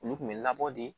Olu kun bɛ labɔ de